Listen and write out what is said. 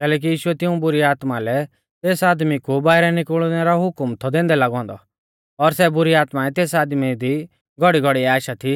कैलैकि यीशुऐ तिऊं बुरी आत्माऐं लै तेस आदमी कु बाइरै निकुल़नै रौ हुकम थौ दैंदै लागौ औन्दौ और सै बुरी आत्माऐं तेस आदमी दी घौड़ीघौड़ीऐ आशा थी